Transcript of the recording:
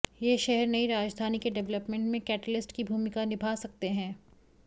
ये शहर नई राजधानी के डेवलपमेंट में कैटेलिस्ट की भूमिका निभा सकते हैं